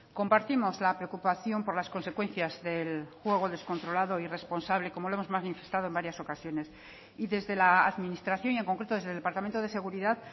compartimos la preocupación por las consecuencias del juego descontrolado e irresponsable como lo hemos manifestado en varias ocasiones y desde la administración y en concreto desde el departamento de seguridad